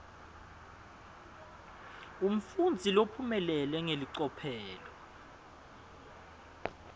umfundzi lophumelele ngelicophelo